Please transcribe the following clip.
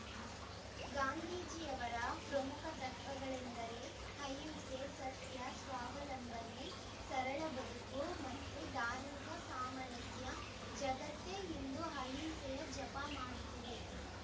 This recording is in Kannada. ಗಾಂಧೀಜಿಯವರ ಪ್ರಮುಖ ತತ್ವಗಳೆಂದರೆ ಅಹಿಂಸೆ ಸತ್ಯ ಸ್ವಾವಲಂಬನೆ ಸರಳ ಬದುಕು ಮತ್ತು ಧಾರ್ಮಿಕ ಸಾಮರಸ್ಯ ಜಗತ್ತೇ ಇಂದು ಅಹಿಂಸೆಯ ಜಪ ಮಾಡುತ್ತಿದೆ